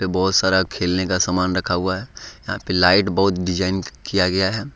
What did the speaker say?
बहुत सारा खेलने का सामान रखा हुआ है यहां पर लाइट बहुत डिजाइन किया गया है।